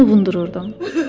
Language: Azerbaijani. Mən onu ovundururdum.